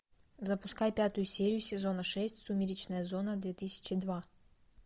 запускай пятую серию сезона шесть сумеречная зона две тысячи два